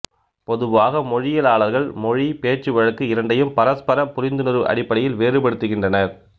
பொதுவாக மொழியியலாளர்கள் மொழி பேச்சுவழக்கு இரண்டையும் பரஸ்பர புரிந்துணர்வு அடிப்படையில் வேறுபடுத்துகின்றனர்